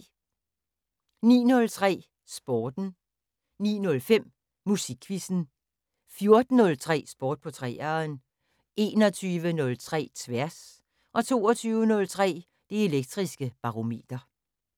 09:03: Sporten 09:05: Musikquizzen 14:03: Sport på 3'eren 21:03: Tværs 22:03: Det Elektriske Barometer